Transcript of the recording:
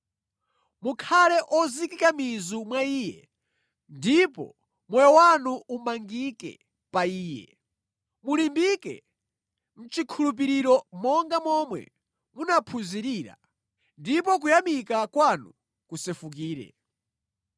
Mukhale ozikika mizu mwa Iye, ndipo moyo wanu umangike pa Iye. Mulimbike mʼchikhulupiriro monga momwe munaphunzirira, ndipo kuyamika kwanu kusefukire.